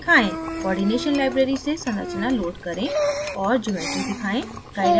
coordination library से संरचनाएं load करें और geometries दिखाएं